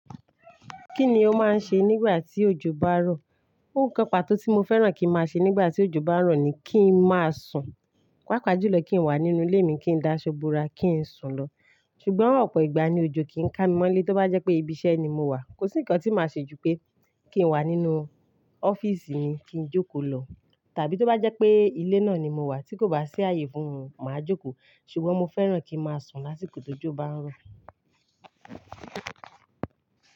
Kíni ó máa ń ṣe nígbà tí òjò bá ń rọ̀? Nǹkan pàtó tí mo fẹ́ràn kí ń máa ṣe nígbà tí òjò bá ń rọ̀ ni kí ń máa sùn. Pápá jùlọ kí ń wà nínú ilé mi, kí ń d'aṣọ bora, kí ń sùn lọ. Ṣùgbọ́n ọ̀pọ̀ ìgbà ni òjò kì í ká mi mọ́lé. Tó bá jẹ́ pé ibi iṣẹ́ ni mo wà, kò sí ǹkan tí màá ṣe ju pé kí n wà nínú ọ́fíísì mi kí ń jókòó lọ. Tàbí tó bá jẹ́ pé ilé náà ni mo wà tí kò bá sí ààyè fún mi, màá jókòó. Ṣùgbọ́n mo fẹ́ràn kí ń máa sùn lásìkò tó jọ bá ń rọ̀.